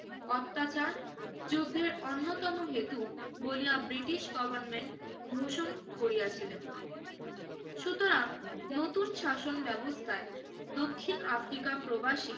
অত্যাচার যুদ্ধের অন্যতম হেতু বলিয়া ব্রিটিশ গভর্নমেন্ট ভূষণ করিয়াছিলেন। সুতরাং নতুন শাসন ব্যবস্থায় দক্ষিণ আফ্রিকা প্রবাসী